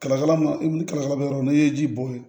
Kalakala makala bɛ yɔrɔ min na n'i ye ji bɔ yen